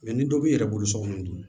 ni dɔ b'i yɛrɛ bolo sokɔnɔna dun